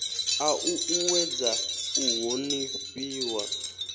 a u uuwedza u honifhiwa